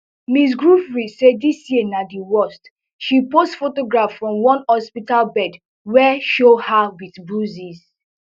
ms giuffre say dis year na di worst she post photograph from one hospital bed wey show her wit bruises